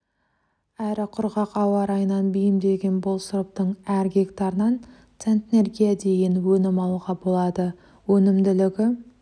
әрі құрғақ ауа райына бейімделген бұл сұрыптың әр гектарынан центнерге дейін өнім алуға болады өнімділігі